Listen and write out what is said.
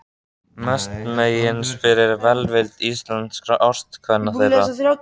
Mestmegnis fyrir velvild íslenskra ástkvenna þeirra.